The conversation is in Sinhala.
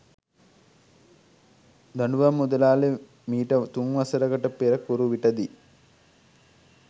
දඬුවම් මුදලාලි මීට තුන්වසරකට පෙර කුරුවිට දී